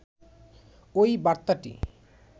ওই বার্তাটি